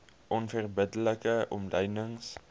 onverbidde like omlynings